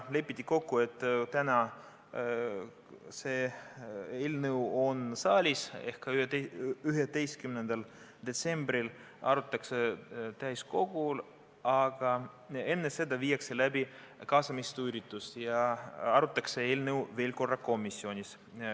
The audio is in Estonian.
Lepiti kokku, et täna on see eelnõu saalis ehk 11. detsembril arutatakse täiskogul, aga enne seda tehakse mitu kaasamisüritust ja arutatakse eelnõu veel korra komisjonis.